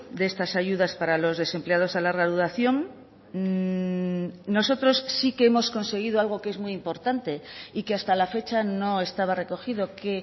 de estas ayudas para los desempleados a larga duración nosotros sí que hemos conseguido algo que es muy importante y que hasta la fecha no estaba recogido que